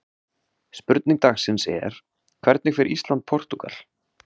Spurning dagsins er: Hvernig fer Ísland- Portúgal?